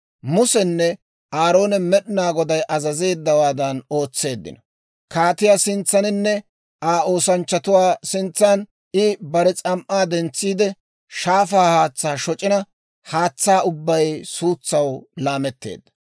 Musenne Aaroone Med'inaa Goday azazeeddawaadan ootseeddino. Kaatiyaa sintsaaninne Aa oosanchchatuwaa sintsaan I bare s'am"aa dentsiide, shaafaa haatsaa shoc'ina haatsaa ubbay suutsaw laametteedda.